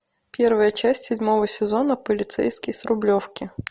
первая часть седьмого сезона полицейский с рублевки